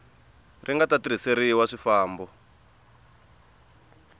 ri nga ta tirhiseriwa swifambo